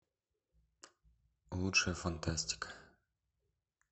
лучшая фантастика